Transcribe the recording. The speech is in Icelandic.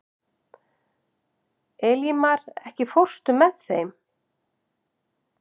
Elímar, ekki fórstu með þeim?